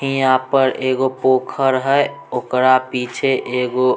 यहां पर एगो पोखर है ओकरा पीछे एगो--